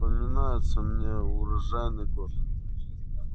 вспоминается мне урожайный год